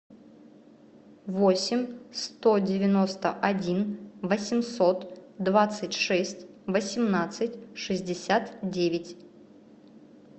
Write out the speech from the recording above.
восемь сто девяносто один восемьсот двадцать шесть восемнадцать шестьдесят девять